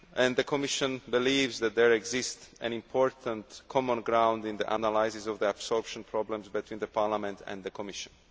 The Commission believes that there exists an important common ground in the analyses of the absorption problems between Parliament and the Commission.